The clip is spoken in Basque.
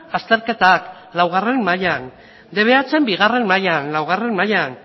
azterketak laugarrena mailan dbh bigarrena mailan laugarrena mailan